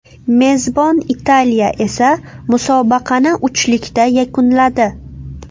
Mezbon Italiya esa musobaqani uchlikda yakunladi.